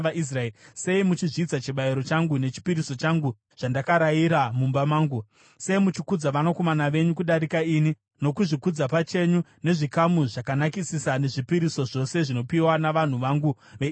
Sei muchizvidza chibayiro changu nechipiriso changu, zvandakarayira mumba mangu? Sei muchikudza vanakomana venyu kudarika ini nokuzvikudza pachenyu nezvikamu zvakanakisisa zvezvipiriso zvose zvinopiwa navanhu vangu veIsraeri?’